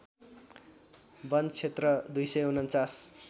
वन क्षेत्र २४९